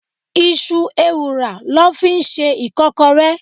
Iṣu ewùrà lọ fi ń ṣe Ìkọ́kọrẹ́.